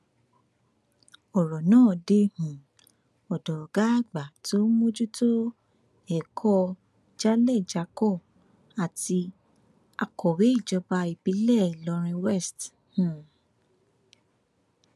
ọrọ náà dé um ọdọ ọgá àgbà tó ń mójútó ètò ẹkọ jálẹjákọ àti akọwé ìjọba ìbílẹ ìlọrin west um